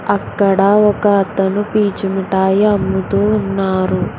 అక్కడ ఒక అతను పీచు మిఠాయి అమ్ముతూ ఉన్నారు.